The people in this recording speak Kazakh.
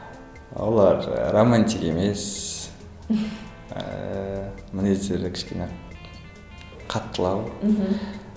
олар ыыы романтик емес ыыы мінездері кішкене қаттылау мхм